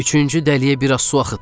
Üçüncü dəliyə biraz su axıtdım.